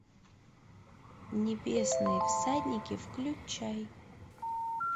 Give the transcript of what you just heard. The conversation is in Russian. небесные всадники включай